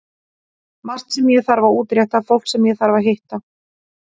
Margt sem ég þarf að útrétta, fólk sem ég þarf að hitta.